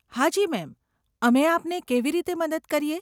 હાજી મેમ, અમે આપને કેવી રીતે મદદ કરીએ?